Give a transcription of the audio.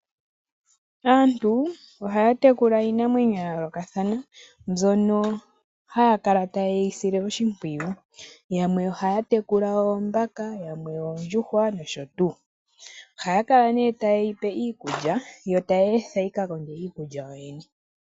Antu ohaya tekula iinamwenyo ya yoolokathana, mbyono haya kala taye yi sile oshimpwiyu. Yamwe ohaya tekula oombaka, yamwe oondjuhwa nosho tuu. Ohaya kala nee taye yipe iikulya yo taye yi etha yikakonge iikulya yoyene.